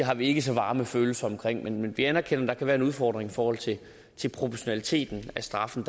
har vi ikke så varme følelser for men vi anerkender at der kan være en udfordring i forhold til til proportionaliteten af straffen